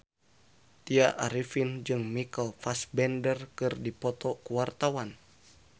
Tya Arifin jeung Michael Fassbender keur dipoto ku wartawan